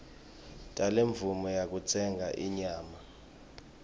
talemvumo yekutsenga inyama